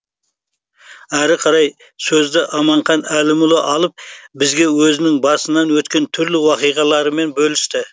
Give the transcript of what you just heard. әрі қарай сөзді аманхан әлімұлы алып бізге өзінің басынан өткен түрлі оқиғаларымен бөлісті